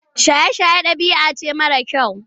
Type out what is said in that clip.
Shaye-shaye ɗabi'a ce mara kyau.